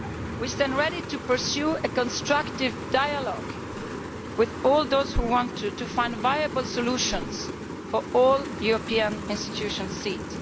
We stand ready to pursue a constructive dialogue with all those who want to find viable solutions for all European institution seats.